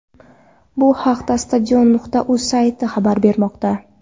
Bu haqda Stadion.uz sayti xabar bermoqda.